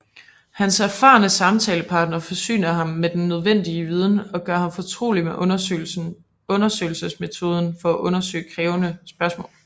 Hans erfarne samtalepartner forsyner ham med den nødvendige viden og gør ham fortrolig med undersøgelsesmetoden med at undersøge krævende spørgsmål